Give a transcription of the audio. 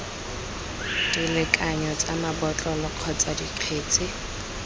dilekanyo tsa mabotlolo kgotsa dikgetse